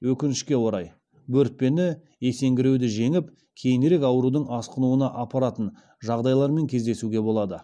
өкінішке орай бөртпені есеңгіреуді жеңіп кейінірек аурудың асқынуына апаратын жағдайлармен кездесуге болады